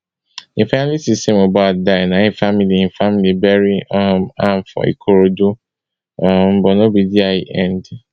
dem finally see say mohbad die na im family im family bury um am for ikorodu um but no be dia e end